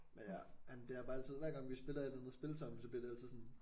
Men ja han bliver bare altid hver gang vi spiller et eller andet spil sammen så bliver det altid sådan